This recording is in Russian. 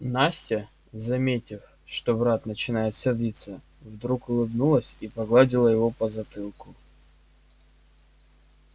настя заметив что брат начинает сердиться вдруг улыбнулась и погладила его по затылку